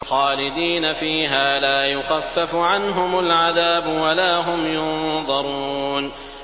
خَالِدِينَ فِيهَا ۖ لَا يُخَفَّفُ عَنْهُمُ الْعَذَابُ وَلَا هُمْ يُنظَرُونَ